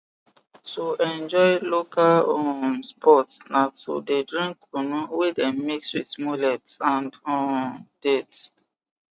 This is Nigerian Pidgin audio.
to enjoy local um sports na to the drink kunu wey dem mix with mullet and um date